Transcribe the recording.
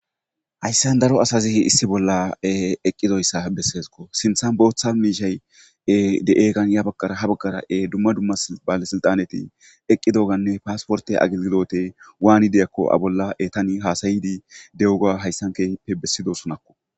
hayssan daro asazi issi bolla eqqidoyssa besseesko sinthan booththa miishay de'eekan ya baggara ha baggarae dumma dumma bale silxaneti eqqi doganne paasporte agigidote waanide akko a bolla e tani haasayidi dewuga hayssankepe bessidosunakko.